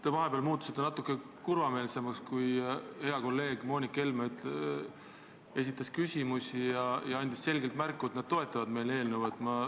Te vahepeal muutusite natuke kurvameelseks, kui hea kolleeg Moonika Helme esitas küsimusi ja andis selgelt märku, et nad toetavad meie eelnõu.